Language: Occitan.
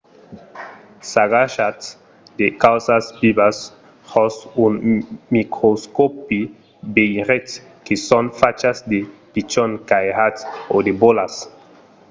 s'agachatz de causas vivas jos un microscòpi veiretz que son fachas de pichons cairats o de bolas